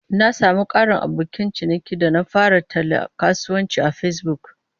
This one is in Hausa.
Na sami ƙarin abokan ciniki lokacin da na fara tallan kasuwancin a Facebook.